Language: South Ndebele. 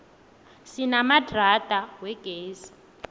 sinamadrada wegezi